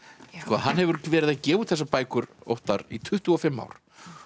hann hefur verið að gefa út þessar bækur Óttar í tuttugu og fimm ár